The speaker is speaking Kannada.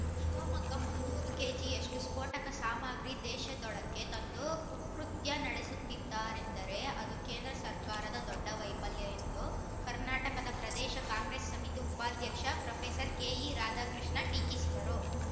ಶಿವಮೊಗ್ಗ ಮುನ್ನೂರು ಕೆಜಿ ಯಷ್ಟುಸ್ಫೋಟಕ ಸಾಮಗ್ರಿ ದೇಶದೊಳಕ್ಕೆ ತಂದು ಕುಕೃತ್ಯ ನಡೆಸುತ್ತಿದರೆಂದರೆ ಅದು ಕೇಂದ್ರ ಸರ್ಕಾರದ ದೊಡ್ಡ ವೈಫಲ್ಯ ಎಂದು ಕರ್ನಾಟಕ ಪ್ರದೇಶ ಕಾಂಗ್ರೆಸ್‌ ಸಮಿತಿ ಉಪಾಧ್ಯಕ್ಷ ಪ್ರೊಫೆಸರ್ ಕೆಇ ರಾಧಾಕೃಷ್ಣ ಟೀಕಿಸಿದರು